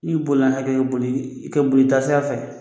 N'i bolila hakɛ boli i kɛ boli i taasira fɛ